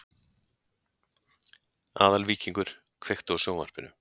Aðalvíkingur, kveiktu á sjónvarpinu.